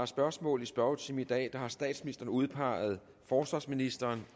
spørgsmål i spørgetimen i dag har statsministeren udpeget forsvarsministeren